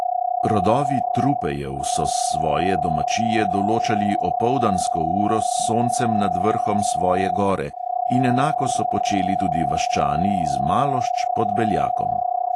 Rodovi trupejev so s svoje domačije določali opoldansko uro s soncem nad vrhom svoje gore in enako so počeli tudi vaščani iz malošč pod beljakom.